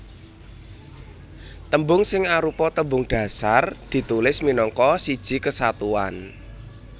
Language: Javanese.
Tembung sing arupa tembung dhasar ditulis minangka siji kesatuan